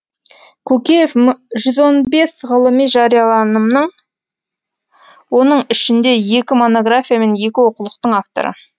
көкеев жүз он бес ғылыми жарияланымның оның ішінде екі монография мен екі оқулықтың авторы